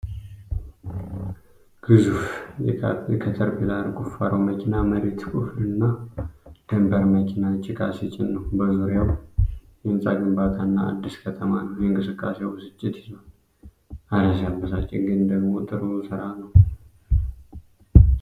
ግዙፍ የካተርፒላር ቁፋሮ መኪና መሬት ሲቆፍርና ደምፐር መኪና ጭቃ ሲጭን ነው ። በዙሪያው የህንጻ ግንባታና አዲስ ከተማ ነው ። የእንቅስቃሴው ብስጭት ይዟል፤ እረ ሲያበሳጭ! ግን ደግሞ ጥሩ ሥራ ነው!